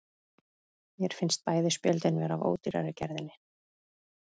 Mér finnst bæði spjöldin vera af ódýrari gerðinni.